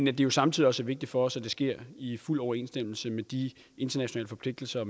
er jo samtidig også vigtigt for os at det sker i fuld overensstemmelse med de internationale forpligtelser og